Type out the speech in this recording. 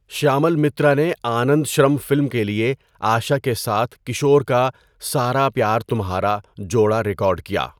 شیامل مترا نے آنندشرم فلم کے لیے آشا کے ساتھ کشور کا 'سارا پیار تمھارا' جوڑا ریکارڈ کیا۔